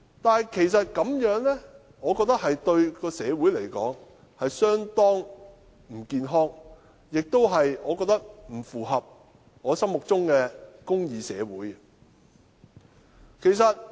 但我認為這樣對社會而言其實相當不健康，亦不符合我心目中的公義社會。